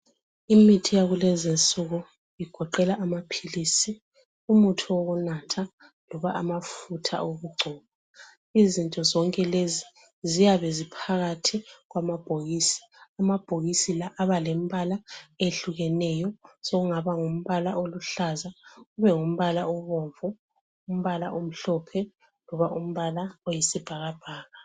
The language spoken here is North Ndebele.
Imithi yakulezi insuku igoqela amaphilisi, umuthi wokunatha loba amafutha wokuqgcoba. Izinto zonke lezi ziyabe ziphakathi kwamabhokisi. Amabhokisi la abalembala eyehlukeneyo, sekungaba ngumbala oluhlaza, kube ngumbala obomvu, umbala omhlophe, loba umbala oyisibhakabhaka.